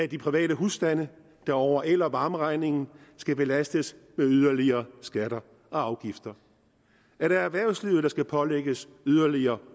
de private husstande der over el og varmeregningen skal belastes med yderligere skatter og afgifter er det erhvervslivet der skal pålægges yderligere